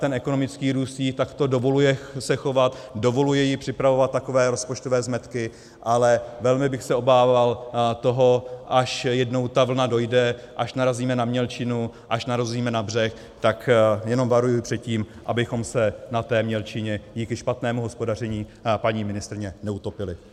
Ten ekonomický růst jí takto dovoluje se chovat, dovoluje jí připravovat takové rozpočtové zmetky, ale velmi bych se obával toho, až jednou ta vlna dojde, až narazíme na mělčinu, až narazíme na břeh, tak jenom varuji před tím, abychom se na té mělčině díky špatnému hospodaření paní ministryně neutopili.